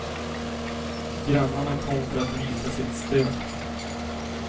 Grannarna kom för att visa sitt stöd.